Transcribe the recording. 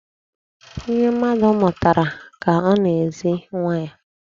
Ihe mmadụ mụtara ka ọ na-ezi nwa ya.